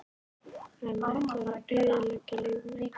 Hann ætlar að eyðileggja líf mitt!